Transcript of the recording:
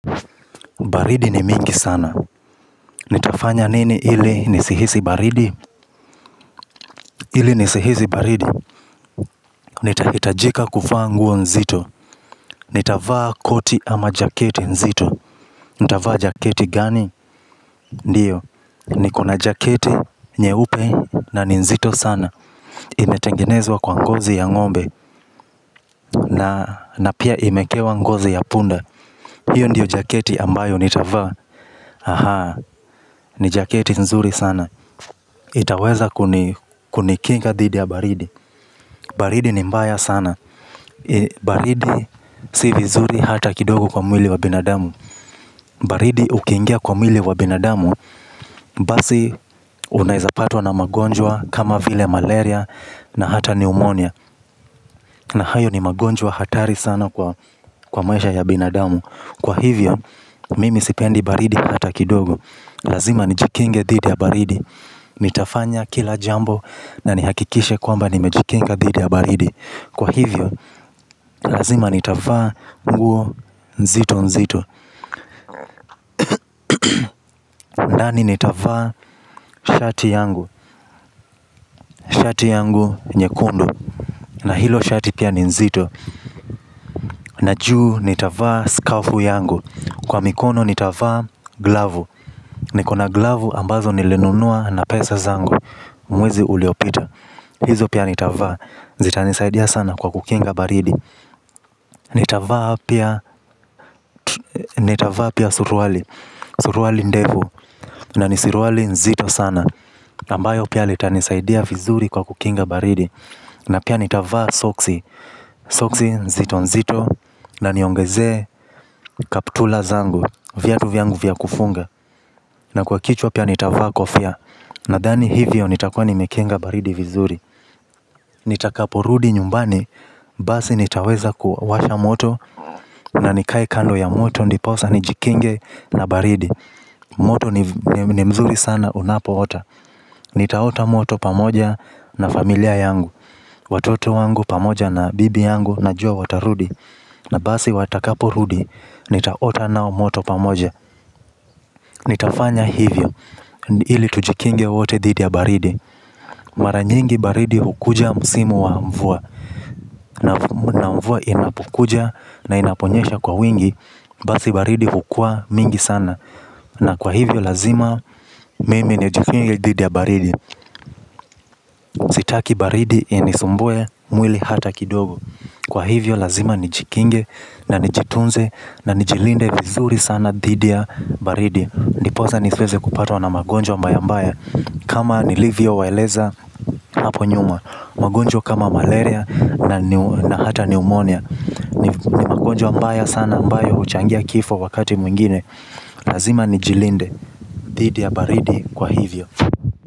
Baridi ni mingi sana. Nitafanya nini ili nisihisi baridi? Ili nisihisi baridi. Nitaitajika kufa nguo nzito. Nitafaa koti ama jaketi nzito. Nitafaa jaketi gani? Ndiyo. Nikona jaketi nyeupe na nzito sana. Inetengenezwa kwa ngozi ya ngombe. Na pia imekewa ngozi ya punda. Hiyo ndiyo jaketi ambayo nitava. Ahaa. Ni jaketi nzuri sana. Itaweza kunikinga dhidi ya baridi. Baridi ni mbaya sana. Baridi si vizuri hata kidogo kwa mwili wa binadamu. Baridi ukingia kwa mwili wa binadamu bazi unaezapatwa na magonjwa kama vile malaria na hata pneumonia. Na hayo ni magonjwa hatari sana kwa maisha ya binadamu. Kwa hivyo, mimi sipendi baridi hata kidogo. Lazima nijikinge dhidi ya baridi. Nitafanya kila jambo na nihakikishe kwamba nimejikinka dhidi ya baridi. Kwa hivyo, lazima nitafaa nguo nzito nzito. Ndani nitafaa shati yangu. Shati yangu nyekundu. Na hilo shati pia nzito. Najuu nitafaa skafu yangu. Kwa mikono nitafaa glavu. Nikona glavu ambazo nilinunua na pesa zangu. Mwezi uliopita hizo pia nitavaa zitanisaidia sana kwa kukinga baridi. Nitavaa pia suruali. Suruali ndefu na nisiruali nzito sana. Nambayo pia litanisaidia vizuri kwa kukinga baridi. Na pia nitavaa soksi. Soksi nzito nzito. Na niongeze kaptula zangu. Vyatu vyangu vyakufunga. Na kwa kichwa pia nitavaa kofia. Na thani hivyo nitakua nimekinga baridi vizuri. Nitakaporudi nyumbani basi nitaweza kuwasha moto. Na nikae kando ya moto. Ndiposa nijikinge na baridi. Moto ni mzuri sana unapo ota. Nitaota moto pamoja na familia yangu. Watoto wangu pamoja na bibi yangu na jua watarudi. Na basi watakapo rudi nitaota nao moto pamoja. Nitafanya hivyo. Hili tujikinge wote didi ya baridi. Maranyingi baridi hukuja msimu wa mvua. Na mvua inapokuja na inaponyesha kwa wingi. Basi baridi hukua mingi sana. Na kwa hivyo lazima mimi nijikinge didi ya baridi. Sitaki baridi inisumbue mwili hata kidogo. Kwa hivyo lazima ni jikinge na nijitunze na ni jilinde vizuri sana didi ya baridi. Ndipoza nisiweze kupatwa na magonjwa mbaya mbaya. Kama nilivio waeleza hapo nyuma. Magonjwa kama malaria na hata pneumonia. Ni magonjwa mbaya sana ambayo uchangia kifo wakati mwingine lazima ni jilinde. Didi ya baridi kwa hivyo.